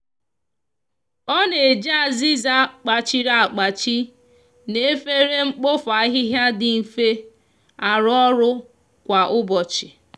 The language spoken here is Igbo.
o n'eji aziza kpachiri akpachi na efere nkpofu ahihia di nfe aru oru kwa ubochi.